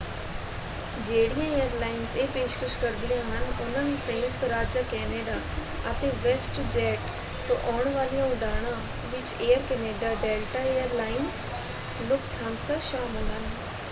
ਜਿਹੜੀਆਂ ਏਅਰਲਾਇੰਸ ਇਹ ਪੇਸ਼ਕਸ਼ ਕਰਦੀਆਂ ਹਨ ਉਨ੍ਹਾਂ ਵਿੱਚ ਸੰਯੁਕਤ ਰਾਜ ਜਾਂ ਕੈਨੇਡਾ ਅਤੇ ਵੈਸਟਜੈੱਟ ਤੋਂ ਆਉਣ ਵਾਲੀਆਂ ਉਡਾਣਾਂ ਵਿੱਚ Air Canada Delta Air Lines Lufthansa ਸ਼ਾਮਲ ਹਨ।